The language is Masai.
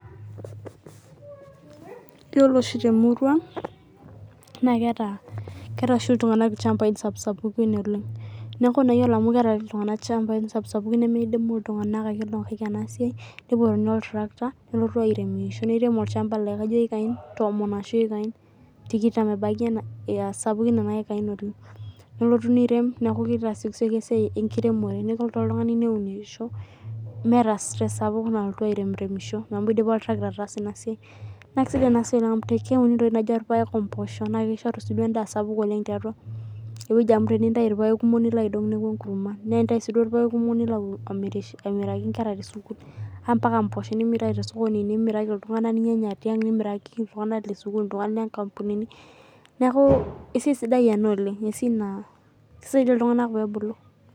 Iyiolo oshi te murua ang keeta iltung'ana ilchambai sapuksapukin oleng. Neeku ore naa mau keeta iltung'ana ilchambai sapuksapukini nemidimu iltung'ana aikena sie nepuonini oltarikata neirem olchamba laa kajo eiakain tikitam ebaki enaa ekai sapukin nelotu nirem beeku kitasiolisioki esai enkiremore nelotu oltung'ani neunisho meeta stress sapuk nalotu airemi remisho amu idipa oltirakita ataasa ina siai. Naa kisidI ina siai amu keuni naji irpaek omposho naa kishoru sii naji edaa sapuk tiatua ineweji amuu tenintayu irpaek kumok nilo aidong' neeku enkurma. Naa tenintayu sii irpaek kumok nilo amiraki nkre te suku mpaka mposho nilo amir nimiraki iltung'ana ninyanya tiang' nimirakiki iltung'ana le sukul inkapunini neeku esiai sidai ena oleng' eisia naa kisaidia iltung'ana pebulu.